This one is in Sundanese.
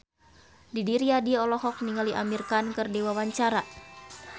Didi Riyadi olohok ningali Amir Khan keur diwawancara